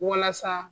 Walasa